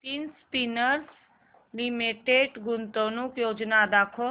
Nitin spinners limited गुंतवणूक योजना दाखव